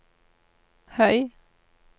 høy